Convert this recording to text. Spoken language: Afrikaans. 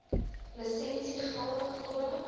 lisensie geldig totdat